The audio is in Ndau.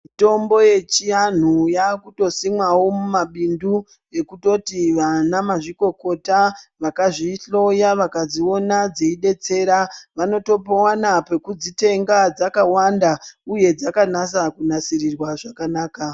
Mitombo ye chianhu yakuto simwawo mu mabindu yekutoti vana mazvikokota vakazvi hloya vakadziona dzei detsera vanoto wana peku dzitenga dzakawanda uye dzakanaka ku nasirirwa zvakanaka.